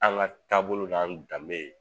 An ŋa taabolo n'an danbe